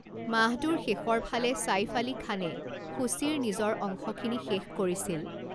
মাহটোৰ শেষৰ ফালে ছাঈফ আলী খানে সূচীৰ নিজৰ অংশখিনি শেষ কৰিছিল।